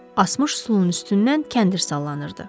Asmış üsulun üstündən kəndir sallanırdı.